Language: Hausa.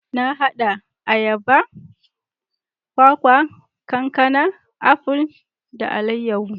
Na hada ayaba, kwakwa, kankana, aful, da alayahu.